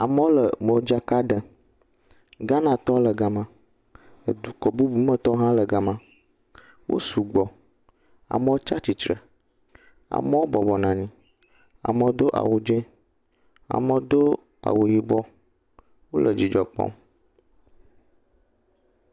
Amewo le modzaka ɖem. Ghanatɔwo le gama. Dukɔ bubu me tɔwo hã le gama. Wo sugbɔ. Amewo tsa tsitsre, amewo bɔbɔ nɔ anyi. Amewo do awu dzẽ, amewo do awu yibɔ. Wole dzidzɔ kpɔm.